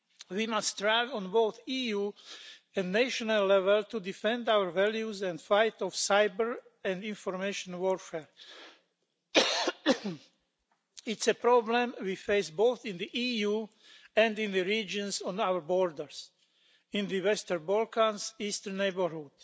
We must strive at both EU and national level to defend our values and fight off cyber and information warfare. It's a problem we face both in the EU and in the regions on our borders, in the western Balkans and the eastern neighbourhood.